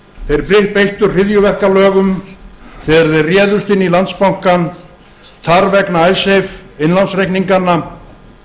þeir beittu hryðjuverkalögum þegar þeir réðust inn í landsbankann þar vegna icesave innlánsreikninganna